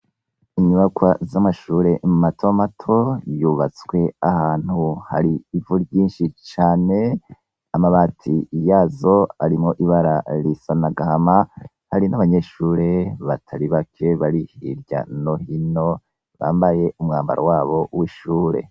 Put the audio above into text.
Inyubakwa z'amashure mato mato yubatswe ahantu hari ivu ryinshi cane, amabati ya zo arimwo ibara risa n'agahama, hari n'abanyeshure batari bake bari hirya no hino, bambaye umwambaro wabo w'ishure